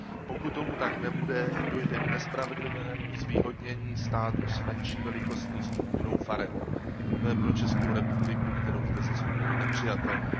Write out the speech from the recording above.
Pokud tomu tak nebude, dojde k nespravedlivému zvýhodnění států s menší velikostní strukturou farem. To je pro Českou republiku, kterou zde zastupuji, nepřijatelné.